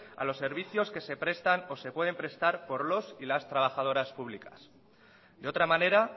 a los servicios que se prestan o se pueden prestar por los y las trabajadoras públicas de otra manera